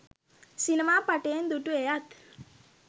සිනමා පටයෙන් දු‍ටු! එයත්